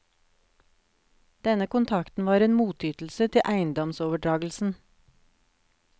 Denne kontrakten var en motytelse til eiendomsoverdragelsen.